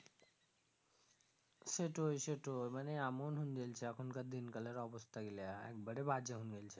সেটই সেটই মানে এমন হুনগেলছে এখন কার দিন কালের অবস্থা গীলা একবারে বাজে হুন গেল্ছে